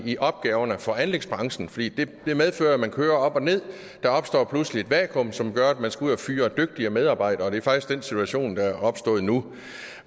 i opgaverne for anlægsbranchen for de medfører at man kører op og ned der opstår pludselig et vakuum som gør at man skal ud at fyre dygtige medarbejdere det er faktisk den situation der er opstået nu